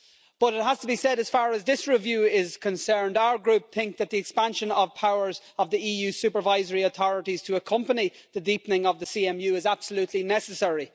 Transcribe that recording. But it has to be said that as far as this review is concerned, our Group thinks that the expansion of the powers of the EU supervisory authorities to accompany the deepening of the CMU is absolutely necessary.